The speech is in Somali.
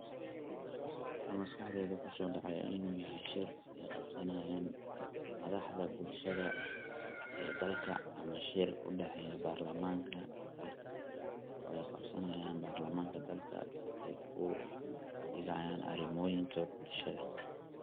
waxa maskaxdeyda kuso dhacaya in uu yahay shir ay qabsanayan madaxda bulshada ee dalka ama shir udhaxeeyo barlamanka dalka oo ay qabsanayan barlamanka dalka udigayaan arimoyinka bulshada